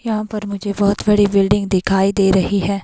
यहां पर मुझे बहोत बड़ी बिल्डिंग दिखाई दे रही है।